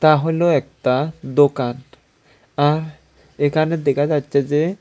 এতা হল একতা দোকান আর এখানে দেখা যাচ্ছে যে--